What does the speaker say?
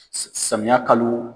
Samiyɛ kalo